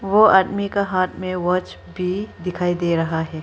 वो आदमी का हाथ में वॉच भी दिखाई दे रहा है।